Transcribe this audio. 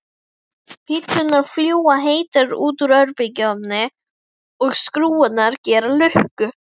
Pizzurnar fljúga heitar út úr örbylgjunni og skrúfurnar gera lukku.